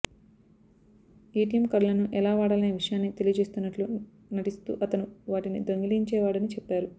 ATM కార్డులను ఎలా వాడాలనే విషయాన్ని తెలియజేస్తున్నట్లు నటిస్తూ అతను వాటిని దొంగిలించేవాడని చెప్పారు